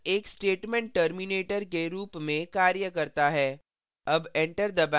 semicolon एक statement terminator के रूप में कार्य करता है